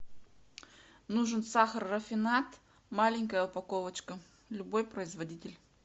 нужен сахар рафинад маленькая упаковочка любой производитель